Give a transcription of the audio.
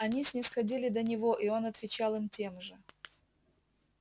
они снисходили до него и он отвечал им тем же